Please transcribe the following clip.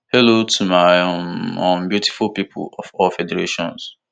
hello to my um um beautiful pipo of all federations